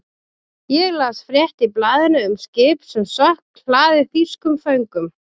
Ég las frétt í blaðinu um skip sem sökk, hlaðið þýskum föngum.